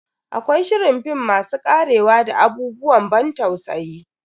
Akwai shirin film masu karewa da abubuwan ban tausayi.